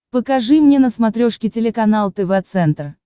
покажи мне на смотрешке телеканал тв центр